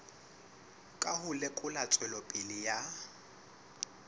ka ho lekola tswelopele ya